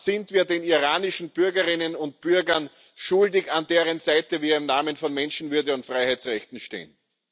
Das sind wir den iranischen Bürgerinnen und Bürgern schuldig, an deren Seite wir im Namen von Menschenwürde und Freiheitsrechten stehen.